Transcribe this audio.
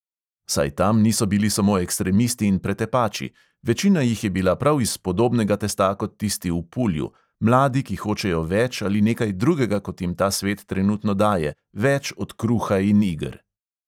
Saj tam niso bili samo ekstremisti in pretepači; večina jih je bila prav iz podobnega testa kot tisti v pulju, mladi, ki hočejo več ali nekaj drugega, kot jim ta svet trenutno daje, več od kruha in iger.